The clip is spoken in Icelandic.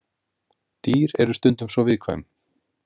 Dýr eru stundum svo viðkvæm.